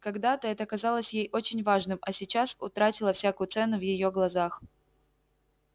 когда-то это казалось ей очень важным а сейчас утратило всякую цену в её глазах